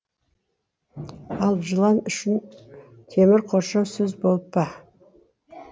ал жылан үшін темір қоршау сөз болып па